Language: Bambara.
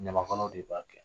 Ɲamakalaw de b'a kɛ.